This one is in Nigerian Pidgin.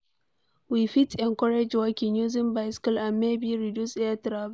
We fit encourage walking, using bicycle and maybe reduce air travel